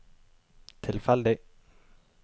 tilfeldig